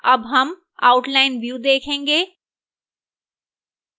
अब हम outline view देखेंगे